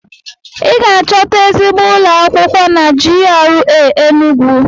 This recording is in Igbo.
I ga-achọta ezigbo ụlọ akwụkwọ na GRA Enugwu.